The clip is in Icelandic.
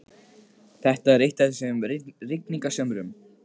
Þetta er eitt af þessum rigningarsumrum.